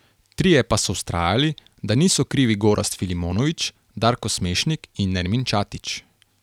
Trije pa so vztrajali, da niso krivi Gorazd Filimonović, Darko Smešnik in Nermin Ćatić.